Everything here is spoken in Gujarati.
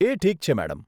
એ ઠીક છે મેડમ.